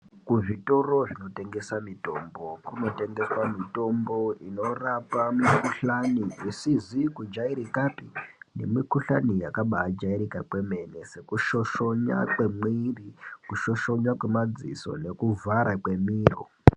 Kuzvitoro zvinotengeswa mitombo kunotengeswa mitombo inorapa mikuhlani isizi kujairikapi nemikuhlani yakabajairika kwemene sekushoshona kwemwiri nekushoshona nemadziso nekuvhara kwemiro.